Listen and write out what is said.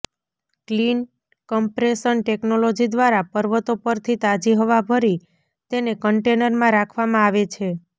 clean compression technology દ્વારા પર્વતો પરથી તાજી હવા ભરી તેને કંટેનરમાં રાખવામાં આવે છે